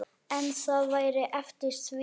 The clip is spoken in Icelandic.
En það væri eftir því.